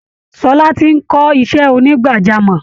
Ṣọlá ti ń kọ́ iṣẹ́ onígbàjámọ̀